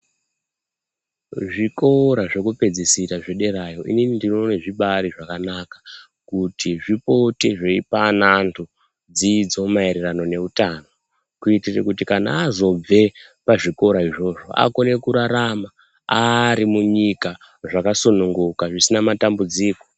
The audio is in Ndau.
Zvikora zvekupedzisira zvederayo inini ndinoona zvibari zvakanaka kuti zvipote zveipa ana evantu dzidzo maererano nehutano kuitira kuti azobve kuzvikora izvozvo akone kurarama Ari munyika zvakasunguka zvisina matambudziko.